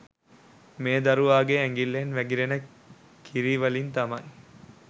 මේ දරුවාගේ ඇඟිල්ලෙන් වැගිරෙන කිරිවලින් තමයි